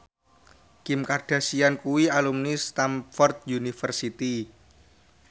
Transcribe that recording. Kim Kardashian kuwi alumni Stamford University